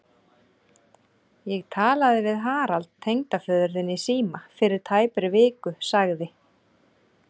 Ég talaði við Harald tengdaföður þinn í síma fyrir tæpri viku sagði